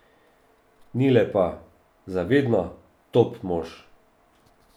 Nile pa, za vedno, top mož.